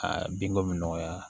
Aa binko bɛ nɔgɔya